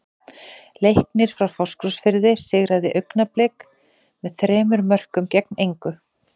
Leiknir frá Fáskrúðsfirði sigraði Augnablik með þremur mörkum gegn engu.